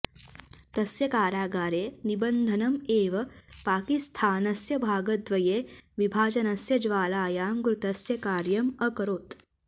तस्य कारागारे निबन्धनम् एव पाकिस्थानस्य भागद्वये विभाजनस्य ज्वालायां घृतस्य कार्यम् अकरोत्